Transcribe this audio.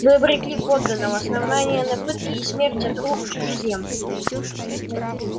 вы обрекли подданого основания на пытки и смерть от рук чужеземцев